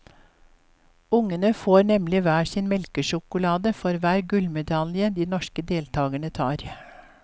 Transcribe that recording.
Ungene får nemlig hver sin melkesjokolade for hver gullmedalje de norske deltagerne tar.